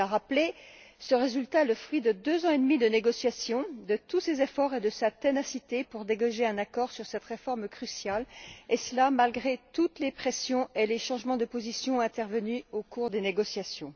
Il l'a rappelé ce résultat est le fruit de deux ans et demi de négociation, de tous ses efforts et de sa ténacité pour dégager un accord sur cette réforme cruciale, et ce malgré toutes les pressions et les changements de position intervenus au cours des négociations.